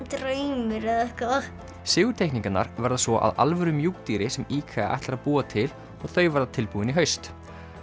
draumur eða eitthvað verða svo að alvöru mjúkdýri sem IKEA ætlar að búa til og þau verða tilbúin í haust